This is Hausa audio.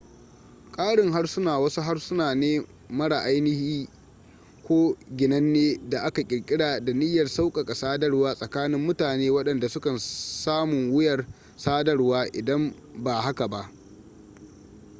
ƙarin harsuna wasu harsuna ne mara ainihi ko ginanne da aka ƙirƙira da niyyar sauƙaƙa sadarwa tsakanin mutane waɗanda sukan samun wuyar sadarwa idan ba haka ba